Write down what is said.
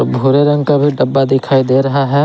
भूरे रंग का भी डब्बा दिखाई दे रहा है।